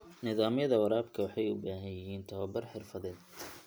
Nidaamyada waraabka waxay u baahan yihiin tababar xirfadeed.